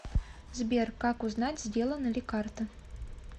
сбер как узнать сделана ли карта